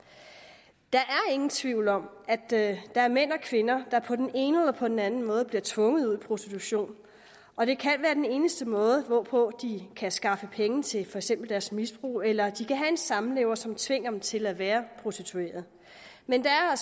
der er ingen tvivl om at der er mænd og kvinder der på den ene eller på den anden måde bliver tvunget ud i prostitution og det kan være den eneste måde hvorpå de kan skaffe penge til for eksempel deres misbrug eller de kan have en samlever som tvinger dem til at være prostituerede men der er